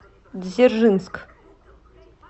дзержинск